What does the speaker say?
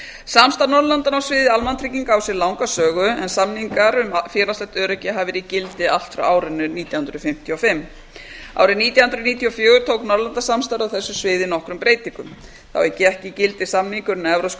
samstarf norðurlandanna á sviði almannatrygginga á sér langa sögu en samningar um félagslegt öryggi hafa verið í gildi allt frá árinu nítján hundruð fimmtíu og fimm árið nítján hundruð níutíu og fjögur tók norðurlandasamstarf á þessu sviði nokkrum breytingum þá gekk í gildi samningurinn um evrópska